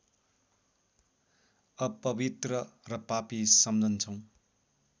अपवित्र र पापी सम्झन्छौ